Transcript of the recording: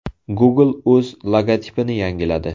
Google o‘z logotipini yangiladi.